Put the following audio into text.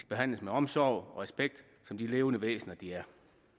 behandles med omsorg og respekt som de levende væsener de er